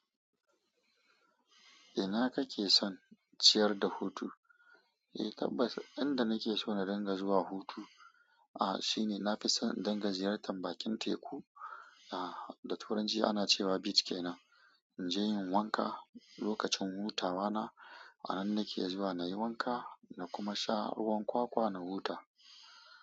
Ina kake son ciyar da hutu? Eh tabbas, inda nake so na dinga zuwa hutu, ah shine nafi son in dinga ziyartar bakin teku. Ah da turanci ana cewa beach kenan. Inje in yi wanka lokacin hutawa na. A nan nake zuwa nayi wanka na kuma sha ruwan kwakwa na huta.